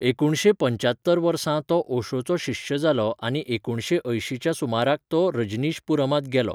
एकुणशे पंच्यात्तर वर्सा तो ओशोचो शिश्य जालो आनी एकुणशे अयंशीच्या सुमाराक तो रजनीशपुरमांत गेलो.